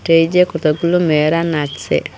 এই যে কতগুলো মেয়েরা নাচছে।